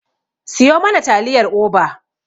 Siyo mana taliyar Oba.